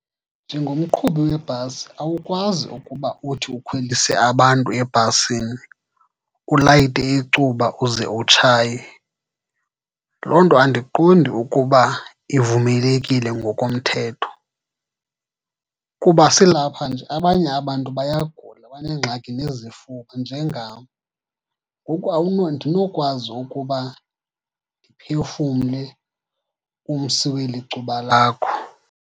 Njengomqhubi webhasi awukwazi ukuba uthi ukhwelise abantu ebhasini ulayite icuba uze utshaye. Loo nto andiqondi ukuba ivumelekile ngokomthetho, kuba silapha nje abanye abantu bayagula, baneengxaki nezifuba njengam. Ngoku andinokwazi ukuba ndiphefumle umsi weli cuba lakho.